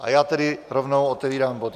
A já tedy rovnou otevírám bod